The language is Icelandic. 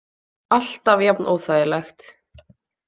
Alltaf jafn óþægilegt.